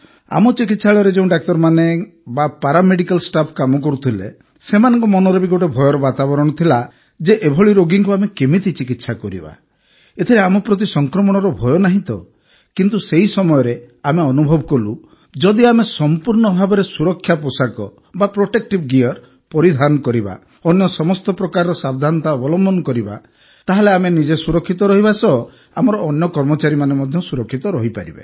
ଆମ ଚିକିତ୍ସାଳୟରେ ଯେଉଁ ଡାକ୍ତରମାନେ କିମ୍ବା ପାରାମେଡିକାଲ ଷ୍ଟାଫ୍ କାମ କରୁଥିଲେ ସେମାନଙ୍କ ମନରେ ବି ଗୋଟିଏ ଭୟର ବାତାବରଣ ଥିଲା ଯେ ଏଭଳି ରୋଗୀଙ୍କୁ ଆମେ କେମିତି ଚିକିତ୍ସା କରିବା ଏଥିରେ ଆମ ପ୍ରତି ସଂକ୍ରମଣର ଭୟ ନାହିଁ ତ କିନ୍ତୁ ସେହି ସମୟରେ ଆମେ ଅନୁଭବ କଲୁ ଯେ ଯଦି ଆମେ ସମ୍ପୂର୍ଣ୍ଣ ଭାବେ ସୁରକ୍ଷା ପୋଷାକ ପ୍ରୋଟେକ୍ଟିଭ୍ ଗିୟର୍ ପରିଧାନ କରିବା ଅନ୍ୟ ସମସ୍ତ ପ୍ରକାର ସାବଧାନତା ଅବଲମ୍ବନ କରିବା ତାହେଲେ ଆମେ ନିଜେ ସୁରକ୍ଷିତ ରହିବା ସହ ଆମର ଅନ୍ୟ କର୍ମଚାରୀମାନେ ମଧ୍ୟ ସୁରକ୍ଷିତ ରହିପାରିବେ